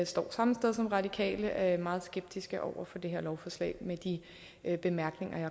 står samme sted som radikale og er meget skeptiske over for det her lovforslag med de bemærkninger jeg